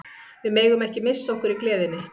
Við megum ekki missa okkur í gleðinni.